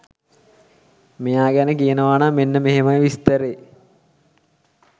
මෙයා ගැන කියනවනම් මෙන්න මෙහෙමයි විස්තරේ.